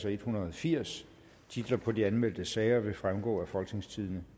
en hundrede og firs titler på de anmeldte sager vil fremgå af folketingstidende